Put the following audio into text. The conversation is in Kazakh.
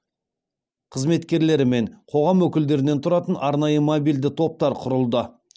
қызметкерлері мен қоғам өкілдерінен тұратын арнайы мобильді топтар құрылды